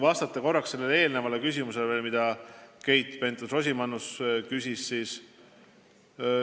Vastan veel korraks eelmisele küsimusele, mida Keit Pentus-Rosimannus küsis.